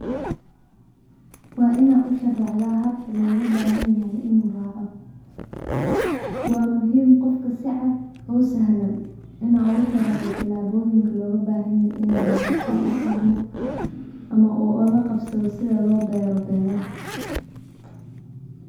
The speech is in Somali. Waa inaad usharaxdaa habka looga bahan yahay inuu raaco, waa muhiim qofka si cad oo sahlan inaa oogu sharaxdo tilaaboyin looga bahan yahay inuu raaco si ufahmo ama uula qabsado sidha loo beero beeraha.